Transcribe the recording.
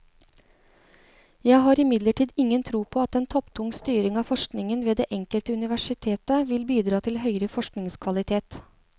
Jeg har imidlertid ingen tro på at en topptung styring av forskningen ved det enkelte universitet vil bidra til høyere forskningskvalitet.